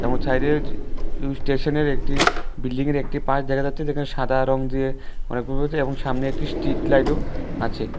স্টেশনের একটি বিল্ডিংয়ের একটি পাস দেখা যাচ্ছে যেখানে সাদা রং দিয়ে এবং সামনে একটি স্ট্রীটলাইটও আছে।